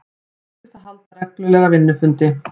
Samþykkt að halda reglulega vinnufundi